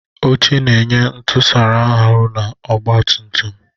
Oche na-enye ntusara ahu na ọgba tum tum.